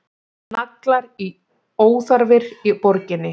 Naglar óþarfir í borginni